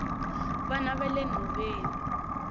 vana vale nhoveni